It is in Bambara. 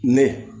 Mɛ